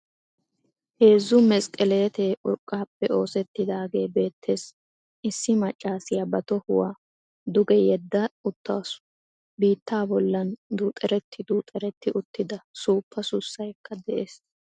Heezzu mesqqeleette urqqaappe oosetidaagee bettees. Issi maccassiya ba to tohuwa duge yeda uttaasu. Biittaa bollan duuxxereti duxxereti uttida suuppa sussaykka de'ees.